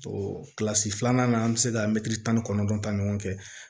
kilasi filanan na an bɛ se ka mɛtiri tan ni kɔnɔntɔn ni ɲɔgɔn cɛ